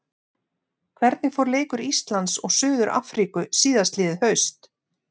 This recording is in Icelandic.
Hvernig fór leikur Íslands og Suður-Afríku síðastliðið haust?